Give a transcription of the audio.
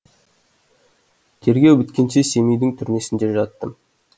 тергеу біткенше семейдің түрмесінде жаттым